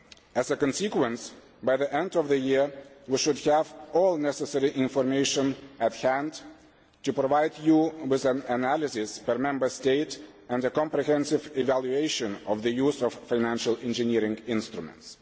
As a consequence, by the end of the year, we should have all necessary information to hand to provide you with an analysis per Member State and a comprehensive evaluation of the use of financial engineering instruments.